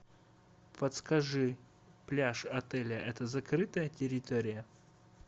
подскажи пляж отеля это закрытая территория